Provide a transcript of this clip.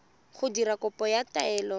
go dira kopo ya taelo